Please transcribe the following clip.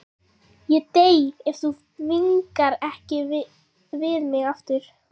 Ég dey ef þú vingast ekki við mig aftur.